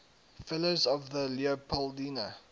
fellows of the leopoldina